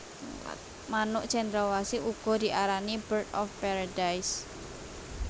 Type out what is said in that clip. Manuk Cendrawasih uga diarani Bird of Paradise